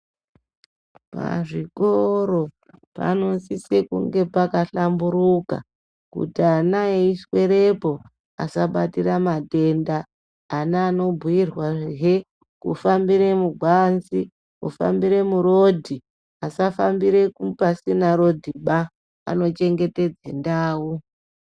Pazvikoro panosise kunge pakahlamburuka kuti ana eiswerepo asabatira matenda. Ana anobhuirwahe kufambire muganzi kufambire murodhi asafambira pasina rodhiba panochengetedze ndau.